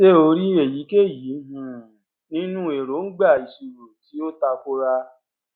ṣé o rí èyíkéyìí um nínú èróńgbà ìṣirò tí ó tako ra